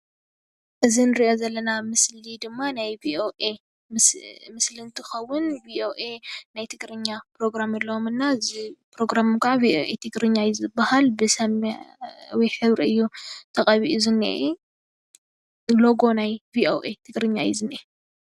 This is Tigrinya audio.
እዚ ንሪኦ ዘለና ምስሊ ድማ ናይ ቪኦኤ ምስሊ እንትኽዉን ቪኦኤ ናይ ትግርኛ ፕሮግራም ኣለዎም እና እዚ ፕሮግራም ቪኦኤ ትግርኛ እዩ ዝብሃል:: ብሰማያዊ ሕብሪ እዩ ተቐቢኡ ዝንሄ ሎጎ ናይ ቪኦኢ ትግርኛ እዩ ዝንሄ ።